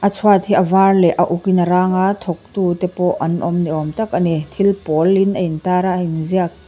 a chhuat hi a var leh a uk in a rang a tawk tu te pawh an awm ni awm tak a ni thil pawlin a intar a a inziak--